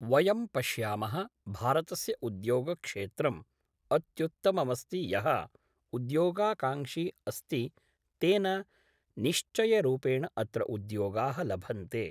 वयं पश्यामः भारतस्य उद्योगक्षेत्रम् अत्युत्तममस्ति यः उद्योगाकाङ्क्षी अस्ति तेन निश्चयरूपेण अत्र उद्योगाः लभन्ते